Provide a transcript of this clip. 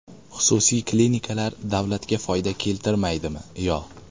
Xususiy klinikalar davlatga foyda keltirmaydimi yo?